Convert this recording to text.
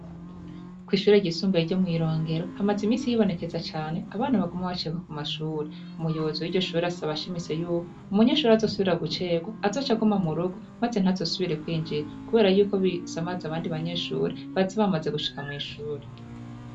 Kw'ishure ryisumbuye ryo mw' Irongero, hamaze iminsi hibonekeza cane abana baguma bacegwa ku mashuri, umuyobozi w'iryoshuri asaba ashimitse y'uko umunyeshuri azosubira gucegwa azoca aguma mu rugo, maze ntaze asubire kwinjira, kubera y'uko bisamaza abandi banyeshuri baza bamaze gushika mw'ishuri.